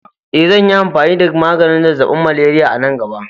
Eh, zanyi amfani da maganin zazzaɓin malaria a nan gaba.